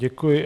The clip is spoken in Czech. Děkuji.